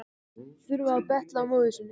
Þurfa að betla af móður sinni.